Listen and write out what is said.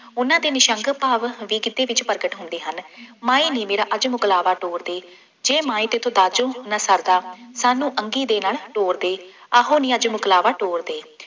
ਉਹਨਾ ਦੇ ਨਿਰਸ਼ੰਕ ਭਾਵ ਅੱਗੇ ਗਿੱਧੇ ਵਿੱਚ ਪ੍ਰਗਟ ਹੁੰਦੇ ਹਨ, ਮਾਏ ਨੀ ਮੇਰਾ ਅੱਜ ਮੁਕਲਾਵਾ ਤੋਰ ਦੇ, ਜੇ ਮਾਏ ਤੈਥੋਂ ਦਾਜੋ ਨਾ ਸ਼ਰਦਾ, ਸਾਨੂੰ ਅੰਗੀ ਦੇ ਨਾਲ ਤੋਰ ਦੇ, ਆਹੋ ਨੀ ਅੱਜ ਮੁਕਲਾਵਾ ਤੋਰ ਦੇ।